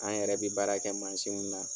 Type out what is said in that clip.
An yɛrɛ bɛ baara kɛ mansin min na.